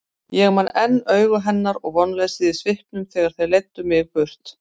Ég man enn augu hennar og vonleysið í svipnum þegar þeir leiddu mig burt.